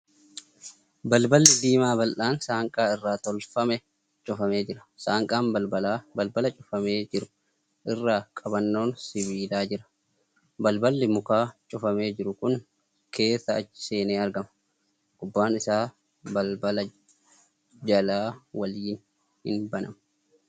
Balballi diimaa bal'aan saanqaa irraa tolfame cufamee jira. Saanqaan balbalaa Balbala cufamee jiru irra qabannoon sibiilaa jira. Balballi mukaa cufamee jiru kun keessa achi seenee argama. Gubbaan isaa balbala jalaa waliin hin banamu.